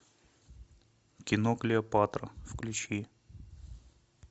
кино клеопатра включи